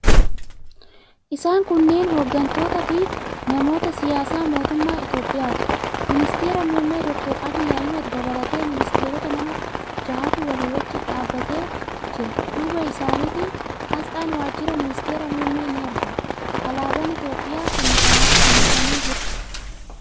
Isaan kunneen hooggantootaafi namoota siyaasaa mootummaa Itiyoophiyaati. Ministeera muummee Dr. Abiy Ahmad dabalatee ministeerota nama jahatu walii wajjin dhaabbatee jira. Duuba isaaniitiin aasxaan wajjira ministeera muummee ni argama. Alaabaan Itiyoophiyaas fannifamee jira.